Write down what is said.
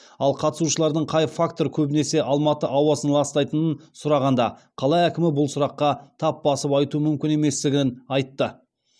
ал қатысушылардың қай фактор көбінесе алматы ауасын ластайтынын сұрағанда қала әкімі бұл сұраққа тап басып айту мүмкін еместігін айтты